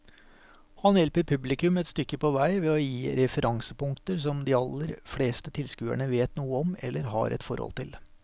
Han hjelper publikum et stykke på vei ved å gi referansepunkter som de aller fleste tilskuere vet noe om eller har et forhold til.